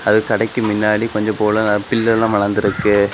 அது கடைக்கு முன்னாடி கொஞ்சப்போல பிள்ளேல்லாம் வளந்திருக்கு.